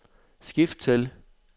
skift til